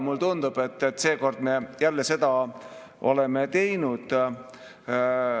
Mulle tundub, et seekord me oleme jälle seda teinud.